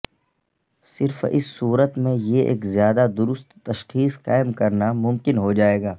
صرف اس صورت میں یہ ایک زیادہ درست تشخیص قائم کرنا ممکن ہو جائے گا